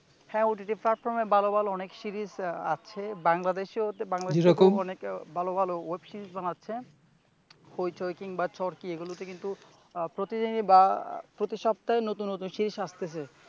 হ্যাঁ OTT platform ভালো ভালো অনেক সিরিজ আছে বাংলাদেশে ভালো ভালো ওয়েব সিরিজ বানাচ্ছে হইচই কিংবা চরকি হচ্ছে এগুলোতে কিন্তু প্রতি দিনে বা প্রতি সপ্তাহে নতুন নতুন সিরিজ আসতেছে ।